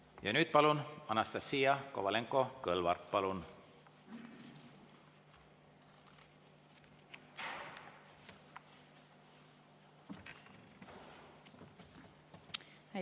Ja nüüd, Anastassia Kovalenko‑Kõlvart, palun!